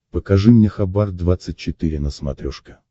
покажи мне хабар двадцать четыре на смотрешке